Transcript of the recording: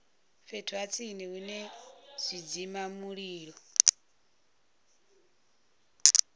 fhethu ha tsini hune zwidzimamulilo